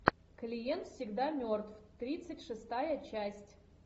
клиент всегда мертв тридцать шестая часть